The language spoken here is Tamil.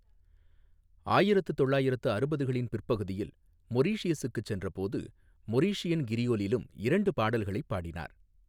ஆயிரத்து தொள்ளாயிரத்து அறுபதுகளின் பிற்பகுதியில் மொரீஷியஸுக்குச் சென்றபோது மொரிஷியன் கிரியோலிலும் இரண்டு பாடல்களைப் பாடினார்.